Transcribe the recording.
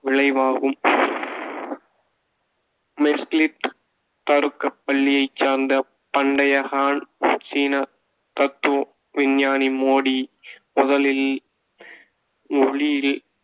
விளைவாகும் தருக்கப் பள்ளியைச் சார்ந்த பண்டைய ஹான் சீன தத்துவ விஞ்ஞானி மோடி முதலில் ஒளியில்